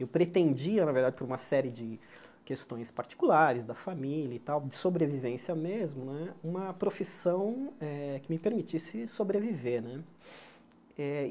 Eu pretendia, na verdade, por uma série de questões particulares, da família e tal, de sobrevivência mesmo né, uma profissão que me permitisse sobreviver né eh.